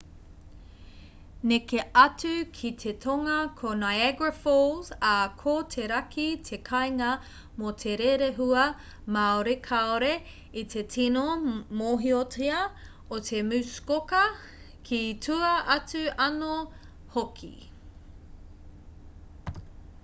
neke atu ki te tonga ko niagara falls ā ko te raki te kāinga mō te rerehua māori kāore i te tino mōhiotia o te muskoka ki tua atu anō hoki